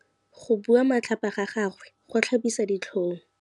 Go bua matlhapa ga gagwe go tlhabisa ditlhong.